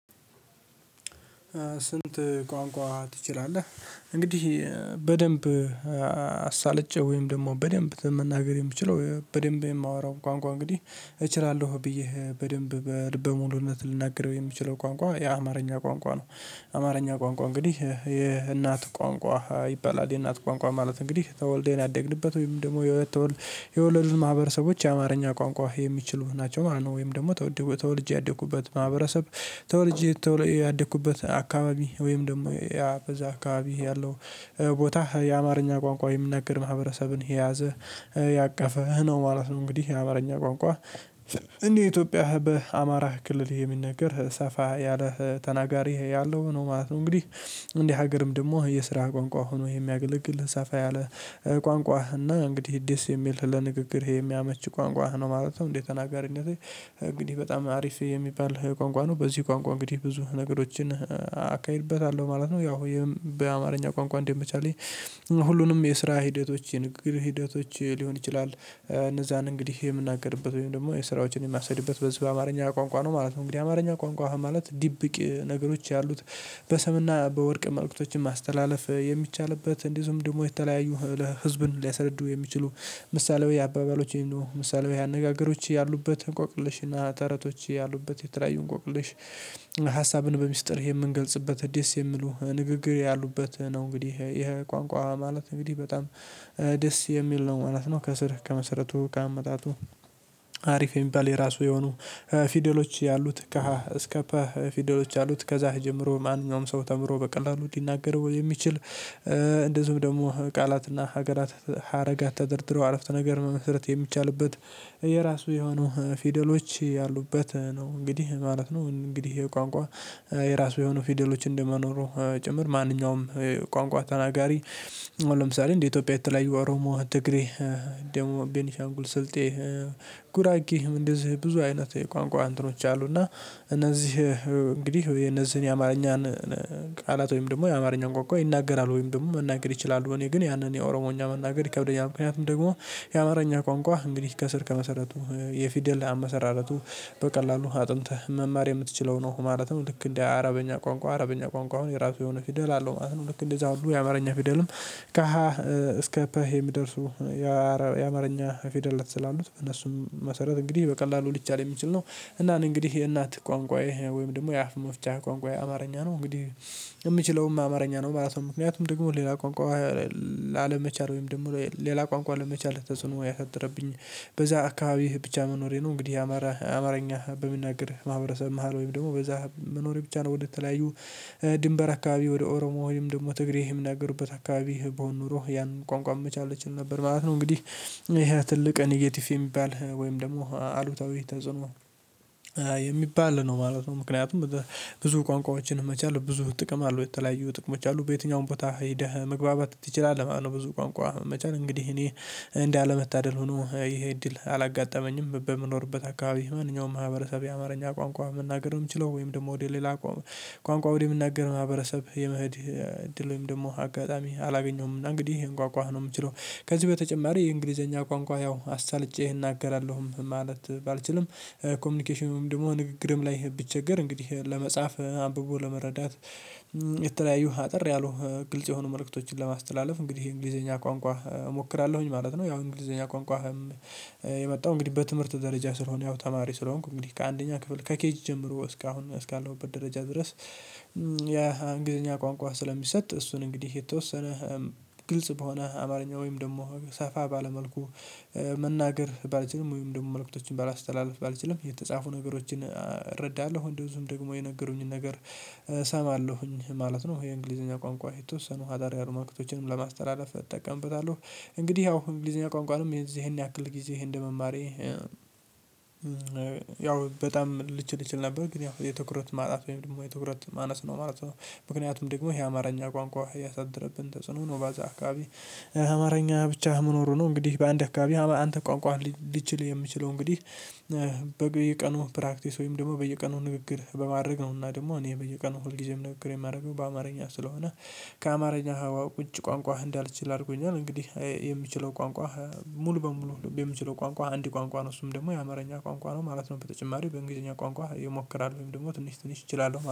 ስንት ቋንቋ ትችላለህ? እንግዲህ በደንብ አሳልጬ ወይም ደግሞ በደንብ መናገር የምችለው በደንብ የማወራው ቋንቋ እንግዲህ እችላለሁ ብዬ በደንብ በልበ ሙሉነት ልናገረው የምችለው ቋንቋ የአማርኛ ቋንቋ ነው። አማርኛ ቋንቋ እንግዲህ የእናት ቋንቋ ይባላል የእናት ቋንቋ ማለት እንግዲህ ተወልደን ያደግንበት ወይንም ደግሞ የወለዱን ማህበረሰቦች የአማርኛ ቋንቋ የሚችሉህ ናቸው ማለት ነው። ወይም ደግሞ ተወልጄ ያደኩበት ማህበረሰብ ተወልጄ ያደኩበት አካባቢ ወይም ደግሞ በዛ አካባቢ ያለው ቦታ የአማርኛ ቋንቋ የሚናገር ማህበረሰብን የያዘ ያቀፈ ነው ማለት ነው። እንግዲህ የአማርኛ ቋንቋ እንደ ኢትዮጵያ በአማራ ክልል የሚነገር ሰፋ ያለ ተናጋሪ ያለው ነው ማለት ነው። እንግዲህ እንዲህ ሀገርም ደግሞ የስራ ቋንቋ ሆኖ የሚያገለግል ሰፋ ያለ ቋንቋ እና እንግዲህ ደስ የሚል ለንግግር የሚያመች ቋንቋ ነው ማለት ነው። እንደ ተናጋሪነቴ እንግዲህ በጣም አሪፍ የሚባል ቋንቋ ነው በዚህ ቋንቋ እንግዲህ ብዙ ነገሮችን አካሂድበታለሁ ማለት ነው። ያው በአማርኛ ቋንቋ እንደ መቻሌ ሁሉንም የስራ ሂደቶች የንግግር ሂደቶች ሊሆን ይችላል እነዛን እንግዲህ የምናገርበት ወይም ደግሞ የስራዎችን የማሴድበት በዚህ በአማርኛ ቋንቋ ነው ማለት ነው። እንግዲህ አማርኛ ቋንቋ ማለት ድብቅ ነገሮች ያሉት በሰምና በወርቅ መልእክቶችን ማስተላለፍ የሚቻልበት እንደዚሁም ደግሞ የተለያዩ ለህዝብን ሊያስረዱ የሚችሉ ምሳሌያው አባባሎች ወይም ደግሞ ምሳሌያዊ አነጋገሮች ያሉበትን እንቆቅልሽና ተረቶች ያሉበትን የተለያዩ እንቆቅልሽ ሀሳብን በሚስጥር የምንገልጽበት ደስ የሚሉ ንግግር ያሉበት ነው። እንግዲህ ይሄ ቋንቋ ማለት እንግዲህ በጣም ደስ የሚል ነው ማለት ነው። ከስር ከመሰረቱ ከአመጣጡ አሪፍ የሚባል የራሱ የሆኑ ፊደሎች ያሉት ከ ሀ እስከ ፐ ፊደሎች ያሉት ከዛ ጀምሮ ማንኛውም ሰው ተምሮ በቀላሉ ሊናገረው የሚችል። እንደዚሁም ደግሞ ቃላትና ሀገራት ሀረጋት ተደርድሮ አረፍተ ነገር መመስረት የሚቻልበት የራሱ የሆኑ ፊደሎች ያሉበት ነው እንግዲህ ማለት ነው። እንግዲህ ይሄ የቋንቋ የራሱ የሆኑ ፊደሎች እንደመኖሩ ጭምር ማንኛውም ቋንቋ ተናጋሪ ለምሳሌ እንዴ ኢትዮጵያ የተለያዩ አሮሞ ትግሬ ደቡብ ቤኒሻንጉል ስልጤ ጉራጌም እንደዚህ ብዙ አይነት የቋንቋ እንተኖች አሉና። እነዚህ እንግዲህ የነዚህን የአማርኛን ቃላት ወይም ደግሞ የአማርኛ ቋንቋ ይናገራል ወይም ደግሞ መናገር ይችላሉ እኔ ግን ያንን የኦሮሞኛ መናገር ይከብደኛል። ምክንያቱም ደግሞ የአማርኛ ቋንቋ እንግዲህ ከስር ከመሰረቱ የፊደል አመሰራረቱ በቀላሉ አጥንተህ መማር የምትችለው ነው። ማለትም ልክ እንደ አረበኛ ቋንቋ አረበኛ ቋንቋ አሁን የራሱ የሆነ ፊደል አለው ማለት ነው። ልክ እንደዛ ሁሉ የአማርኛ ፊደልም ከ ሀ እስከ ፐ የሚደርሱ የአማርኛ ፊደላት ስላሉት እነሱም መሰረት እንግዲህ በቀላሉ ሊቻል የሚችል ነው። እኔ እንግዲህ የእናት ቋንቋዬ ወይም ደግሞ የአፍ መፍቻ ቋንቋዬ አማርኛ ነው እንግዲህ የምችለውም አማርኛ ነው ማለት ነው። ምክንያቱም ደግሞ ሌላ ቋንቋ ላለመቻል ወይም ደግሞ ሌላ ቋንቋ ለመቻል ተጽዕኖ ያሳደረብኝ በዛ አካባቢህ ብቻ መኖሬ ነው እንግዲህ የአማራ አማርኛ በሚናገር ማህበረሰብ መሃል ወይም ደግሞ በዛ መኖሬ ብቻ ነው። ወደተለያዩ ድንበር አካባቢ ወደ ኦሮሞ ወይም ደግሞ ትግሬ የሚናገሩበት አካባቢ ብሆን ኖሮ ያንን ቋንቋ መቻል እችል ነበር ማለት ነው። እንግዲህ ይሄ ትልቅ ኔጌቲቭ የሚባል ወይም ደግሞ አሉታዊ ተጽዕኖ የሚባል ነው ማለት ነው። ምክንያቱም ብዙ ቋንቋዎችን መቻል ብዙ ጥቅም አለው የተለያዩ ጥቅሞች አሉ በየትኛውም ቦታ ሄደህ መግባባት ትችላለህ ማለት ነው። ብዙ ቋንቋ መቻል እንግዲህ እኔ እንዳለመታደል ሆኖ ይሄ እድል አላጋጠመኝም በምኖርበት አካባቢ ማንኛውም ማህበረሰብ የአማርኛ ቋንቋ መናገር የምችለው ወይም ደግሞ ወደ ሌላ ቋንቋ ወደ ሚናገር ማህበረሰብ የመህድ እድል ወይም ደግሞ አጋጣሚ አላገኘሁም። እና እንግዲህ ይሄን ቋቋ ነው የምችለው ከዚህ በተጨማሪ የእንግሊዘኛ ቋንቋ ያው አሳልጬ እናገራለሁም ማለት ባልችልም ኮሚኒኬሽንም ወይንም ደግሞ ንግግርም ላይ ብቸገር እንግዲህ ለመጻፍ አንብቦ ለመረዳት የተለያዩ አጥር ያሉ ግልጽ የሆኑ መልእክቶችን ለማስተላለፍ እንግዲህ የእንግሊዘኛ ቋንቋ እሞክራለሁኝ ማለት ነው። ያው የእንግሊዘኛ ቋንቋ የመጣው እንግዲህ በትምህርት ደረጃ ስለሆነ ያው ተማሪ ስለሆንኩ እንግዲህ ከአንደኛ ክፍል ከኬጅ ጀምሮ እስካሁን እስካለሁበት ደረጃ ድረስ። ያ እንግሊዘኛ ቋንቋ ስለሚሰጥ እሱን እንግዲህ የተወሰነ ግልጽ በሆነ አማርኛ ወይም ደግሞ ሰፋ ባለ መልኩ መናገር ባልችልም ወይም ደግሞ መልእክቶችን ባላስተላልፍ ባልችልም የተጻፉ ነገሮችን እረዳለሁ እንደዚሁም ደግሞ የነገሩኝን ነገር እሰማለሁኝ ማለት ነው። የእንግሊዘኛ ቋንቋ የተወሰኑ አጠር ያሉ መልእክቶችን ለማስተላለፍ እጠቀምበታለሁ። እንግዲህ ያው እንግሊዝኛ ቋንቋንም የዚያን ያክል ጊዜ እንደመማሬ ያው በጣም ልችል እችል ነበር ግን ያው የትኩረት ማጣት ወይም ደግሞ የትኩረት ማነስ ነው ማለት ነው። ምክንያቱም ደግሞ ይሄ አማርኛ ቋንቋ ያሳድርብን ተጽዕኖ ነው በዛ አካባቢ አማርኛ ብቻ መኖሩ ነው። እንግዲህ በአንድ አካባቢ አንተ ቋንቋ ሊችል የሚችለው እንግዲህ በየቀኑ ፕራክቲስ ወይም ደግሞ በየቀኑ ንግግር በማድረግ ነው እና ደግሞ እኔ በየቀኑ ሁልጊዜም ንግግር የማደርገው በአማርኛ ስለሆነ ከአማርኛ ሀዋ ውጭ ቋንቋ እንዳልችል አድርጎኛል። እንግዲህ የምችለው ቋንቋ ሙሉ በሙሉ በምችለው ቋንቋ አንድ ቋንቋ ነው እሱም ደግሞ የአማርኛ ቋንቋ ነው ማለት ነው። በተጨማሪው በእንግሊዘኛ ቋንቋ እየሞከራለሁኝ ደግሞ ትንሽ ትንሽ እችላለሁ